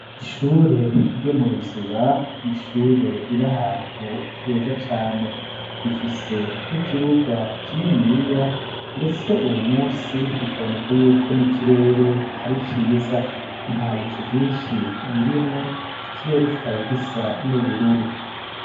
Ishure ryo mu Ruziba n'ishure riri ahantu heza cane rifise n'ikibuga kininiya ndetse uyu munsi bikaboneka yuko n'ikirere ari ciza nta bicu vyishi birimwo ikirere kikaba gisa n'ubururu.